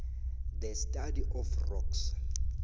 the study of rocks